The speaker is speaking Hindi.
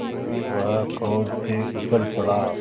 वह क्रोध से उछल पड़ा